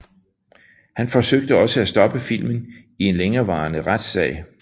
Han forsøgte også at stoppe filmen i en længerevarende retsag